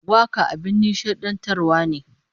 Waka abin nishadantarwa ne